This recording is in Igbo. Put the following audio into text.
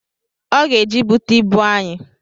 Ọ ga-eje igbute ịbụ anyị